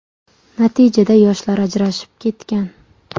Natijada yoshlar ajrashib ketgan.